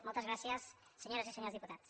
moltes gràcies senyores i senyors diputats